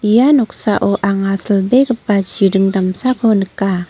ia noksao anga silbegipa chiring damsako nika.